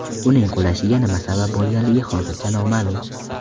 Uning qulashiga nima sabab bo‘lganligi hozircha noma’lum.